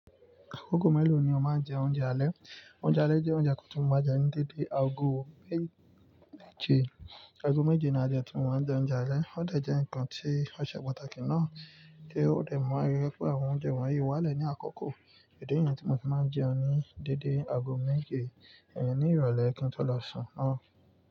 Ago méèló ni o máa ń jẹ oúnjẹ alẹ́? Oúnjẹ alẹ́ jẹ́ oúnjẹ kan tí mó máa n jẹ ní dédé ago méje, ago méje ni a jẹ timó máa ń jẹ oúnjẹ alẹ́. Ó dẹ̀ jẹ́ ǹkan tí ó ṣe pàtàkì náà, tí ó dẹ̀ ma n yẹ pé àwọn oúnjẹ wọ̀nyí wá lẹ̀ ní àkoko. Ídì niyẹ̀ tí mo fi máa ń jẹun ní dédé ago méje, ẹ ni ìrọ̀lẹ́ kí n tó lọ sùn náà.